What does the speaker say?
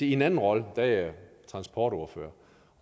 i en anden rolle er jeg transportordfører